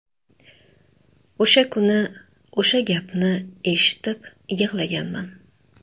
O‘sha kuni o‘sha gapni eshitib yig‘laganman.